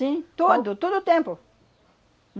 Sim, tudo, todo o tempo.